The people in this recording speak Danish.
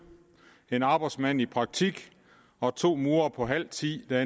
en arbejdsmand i praktik og to murere på halv tid der